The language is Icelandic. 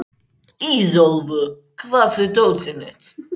Ísólfur, hvar er dótið mitt?